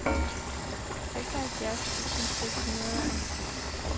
seksoghalvfjerds tusind seks hundrede og halvfems